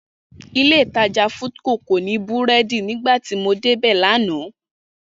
Ilé-ìtajà Foodco kò ní búrẹ́dì nígbà tí mo débẹ̀ lánàá